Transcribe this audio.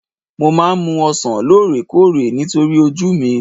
Mo máa ń mu ọsàn lóore kóòrè nítorí ojú mi